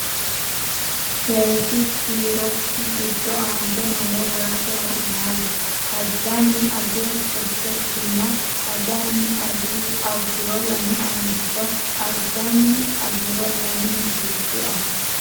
Seesi kiirokki giddo aante noore worate wo’naali: ajanni ajiro sette sinna ajjanni ajjuro lame aanchito ajanni ajiro lame misilshu afoo.